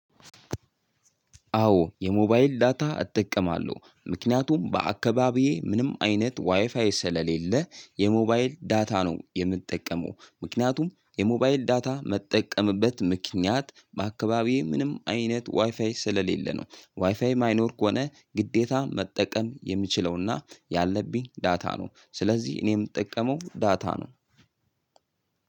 አዎ የሞባይል ዳታ እጠቀማለሁ ምክንያቱም በአካባቢዬ ምንም አይነት ዋይፋይ ስለሌለ የሞባይል ዳታ ነው የምጠቀመው ምክንያቱም የሞባይል ዳታ ምጠቀምበት ምክንያት በአካባቢዬ ምንም አይነት ዋይፋይ ስለሌለ ነው ዋይፋይ ማይኖርክ ሆነ ግዴታ መጠቀም የሚችለውና ያለብኝ ዳታ ነው ስለዚህ እኔ የምጠቀመው ዳታ ነው።